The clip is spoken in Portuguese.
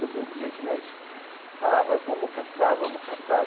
Todo dia que nós falava, vamos caçar, vamos caçar.